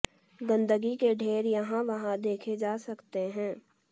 गंदगी के ढेर यहां वहां देखे जा सकते हैं